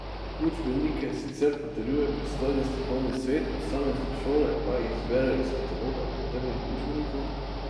Učbenike sicer potrjuje pristojni strokovni svet, posamezne šole pa jih izberejo iz kataloga potrjenih učbenikov.